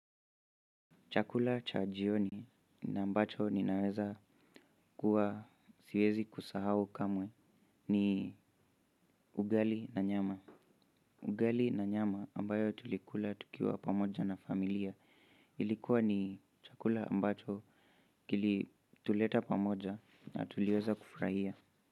Chakula cha jioni na ambacho ninaweza kuwa siwezi kusahau kamwe ni ugali na nyama. Ugali na nyama ambayo tulikula tukiwa pamoja na familia ilikuwa ni chakula ambacho kilituleta pamoja na tuliweza kufurahia.